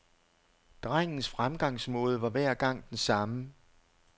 Drengens fremgangsmåde var hver gang den samme.